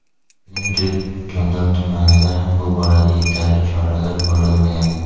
Shuningdek, Jondor tumanida ham bu borada yetarli choralar ko‘rilmagan.